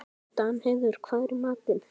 Danheiður, hvað er í matinn?